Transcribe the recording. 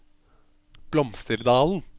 Blomsterdalen